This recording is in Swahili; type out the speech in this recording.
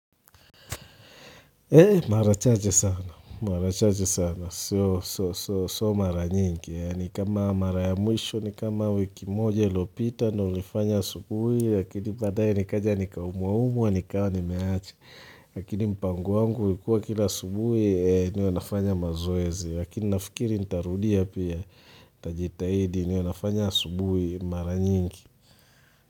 Mara chache sana, mara chache sana, so mara nyingi, ni kama mara ya mwisho, ni kama wiki moja ilopita, ndo nilifanya asubuhi, lakini badaaye nikaja nikaumwa umuwa, nikawa nimeacha, lakini mpango wangu, ulikua kila asubuhi, niwe nafanya mazoezi, lakini nafikiri, nitarudia pia, tajitahidi, niwe nafanya asubuhi, mara nyingi.